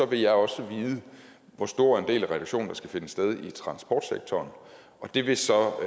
vil jeg også vide hvor stor en del af reduktionen der skal finde sted i transportsektoren det vil så